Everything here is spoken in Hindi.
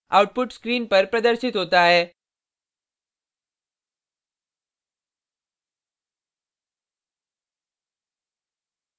output screen पर प्रदर्शित होता है